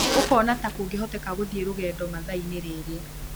ũkuona ta kũngĩhoteka gũthiĩ rũgendo mathaa-inĩ rĩrĩ